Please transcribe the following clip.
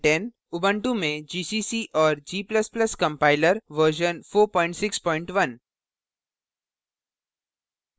ubuntu में gcc और g ++ compiler version 461